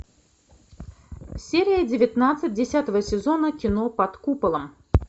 серия девятнадцать десятого сезона кино под куполом